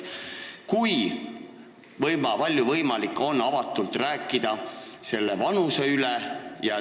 Kui palju on võimalik avatult selle vanuse üle vaielda?